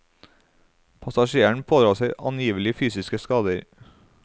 Passasjeren pådrar seg angivelig fysiske skader.